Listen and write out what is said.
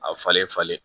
A falen falen